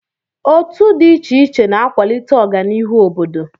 Otu dị iche iche na-akwalite ọganihu obodo.